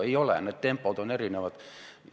Ei ole, need tempod on erinevad.